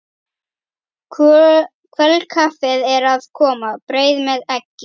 Kvöldkaffið er að koma, brauð með eggi.